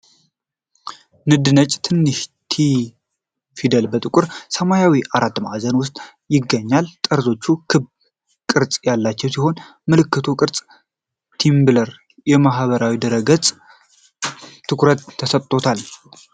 ንድ ነጭ ትንሽ "ቲ" ፊደል ጥቁር ሰማያዊ አራት ማዕዘን ውስጥ ይገኛል። ጠርዞቹ ክብ ቅርጽ ያላቸው ሲሆን፣ የምልክቱ ቅርጽ የ"ቲምብለር" የማህበራዊ ድረ-ገጽ ትኩረት ተሰጥቶታል።